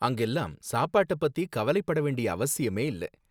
அங்கெல்லாம் சப்பாட்ட பத்தி கவலைப்படவேண்டிய அவசியமே இல்ல